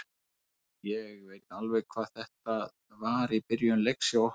Ég veit alveg hvað þetta var í byrjun leiks hjá okkur.